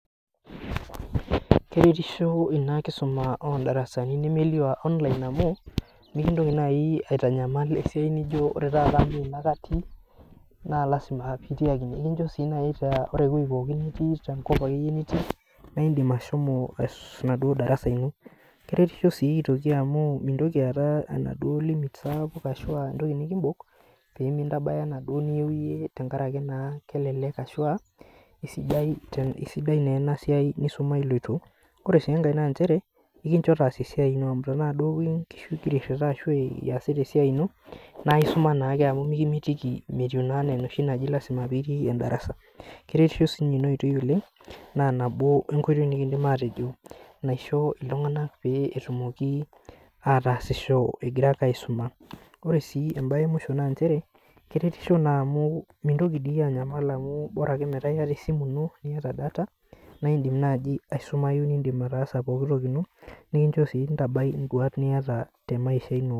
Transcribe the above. Keretisho ina darasa nemelio oondarsani eonline amu, mikintoki naaji aitanyamal esiai nijo aore taata amu ene ake atii, naa lasima ake pee eitii ine. Ekincho sii naaji metaa ore eweji pookin nitii tenkop na indim ashomo enaduo darasa ino .Keretisho sii aitoki amu mintoki aata enaduo limit sapuk ashua entoki nikimbok pee mintabaya enaduo niyieu iyie tenkaraki naa kelelek ashua keisidai ena siai nisuma iloito. Ore sii enkae naa nchere ekincho taasa esiai ino amu tenaa nkishu duo ingira airita ashu iyasita esiai ino, naa isuma naake amu metii enaa enoshi naji lasima pee itii endarasa. Keretisho siininye ina oitoi oleng naa nabo enkoitoi nikindim atejo naisho iltunganak pee etumoki ataasisho egira ake aisuma. Ore sii embae emusho naa keretisho naa amu mintoki dii iyieu anyala ore ake metaa iyata esimu ino niyata data naa indim naaji aisumayu ataasa pooki toki ino ,nikincho sii ntabai nduat niyata temaisha ino.